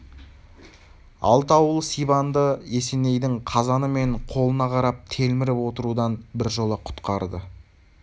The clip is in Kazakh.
алты ауыл сибанды есенейдің қазаны мен қолына қарап телміріп отырудан біржола құтқарды